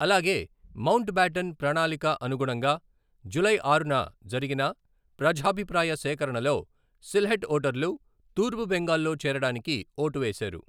అలాగే Mountbatten ప్రణాళిక అనుగుణంగా జూలై ఆరున జరిగిన ప్రజాభిప్రాయ సేకరణలో సిల్హెట్ ఓటర్లు తూర్పు బెంగాల్లో చేరడానికి ఓటు వేశారు.